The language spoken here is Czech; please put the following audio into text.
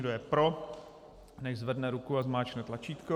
Kdo je pro, nechť zvedne ruku a zmáčkne tlačítko.